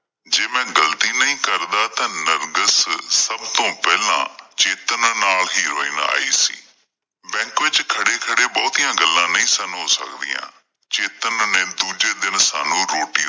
ਜੇ ਮੈਂ ਗਲਤੀ ਨਹੀਂ ਕਰਦਾ ਤਾਂ ਨਰਗਿਸ ਸਬ ਤੋਂ ਪਹਿਲਾਂ ਚੇਤਨ ਨਾਲ ਹੀ ਹੈਰੋਇਨ ਆਈ ਸੀ। ਬੈਂਕ ਵਿੱਚ ਖੜ੍ਹੇ ਖੜ੍ਹੇ ਬਹੁਤੀਆਂ ਗੱਲਾਂ ਨਹੀਂ ਸਨ ਹੋ ਸਕਦੀਆਂ। ਚੇਤਨ ਨੇ ਦੂਜੇ ਦਿਨ ਸਾਨੂੰ ਰੋਟੀ ਲਈ